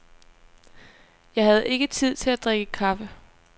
Jeg havde ikke tid til at drikke kaffe.